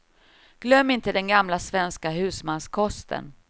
Glöm inte den gamla, svenska husmanskosten.